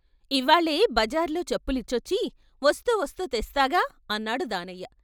"ఇవ్వాళే బజార్లో చెప్పులిచ్చొచ్చి వస్తూ వస్తూ తెస్తాగా" అన్నాడు దానయ్య.